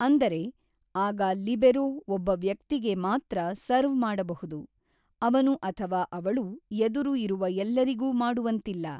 ಅಂದರೆ, ಆಗ ಲಿಬೆರೋ ಒಬ್ಬ ವ್ಯಕ್ತಿಗೆ ಮಾತ್ರ ಸರ್ವ್ ಮಾಡಬಹುದು, ಅವನು ಅಥವಾ ಅವಳು ಎದುರು ಇರುವ ಎಲ್ಲರಿಗೂ ಮಾಡುವಂತಿಲ್ಲ.